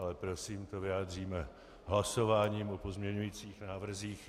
Ale prosím, to vyjádříme hlasováním o pozměňujících návrzích.